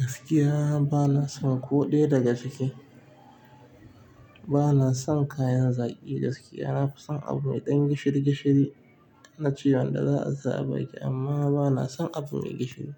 Gaskiya ba na son ko ɗaya daga ciki. Ba na son kayan zaƙi gaskiya. Na fi son abu mai ɗan gishiri gishiri na ci wanda za a sa a ba ki amma ba na son abu mai gishiri